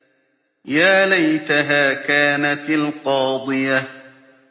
يَا لَيْتَهَا كَانَتِ الْقَاضِيَةَ